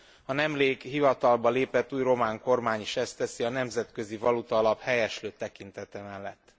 A nemrég hivatalba lépett új román kormány is ezt teszi, a Nemzetközi Valutaalap helyeslő tekintete mellett.